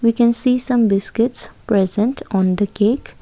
we can see some biscuits present on the cake.